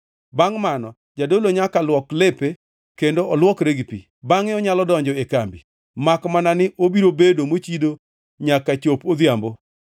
Bangʼ mano, jadolo nyaka luok lepe kendo olwokre gi pi. Bangʼe onyalo donjo e kambi, makmana ni obiro bedo mochido nyaka chop odhiambo.